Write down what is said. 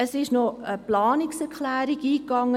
Es ist noch eine Planungserklärung eingegangen.